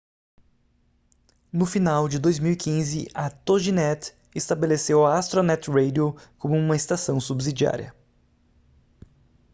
no final de 2015 a toginet estabeleceu a astronet radio como uma estação subsidiária